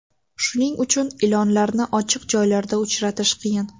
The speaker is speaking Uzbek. Shuning uchun ilonlarni ochiq joylarda uchratish qiyin.